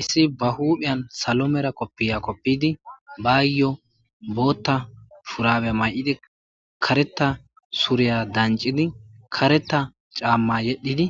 issi ba huudhiyan salo mera koppiya koppidi baayyo bootta furabe may7idi kareta suriya dancidi kareta caamma yedhidi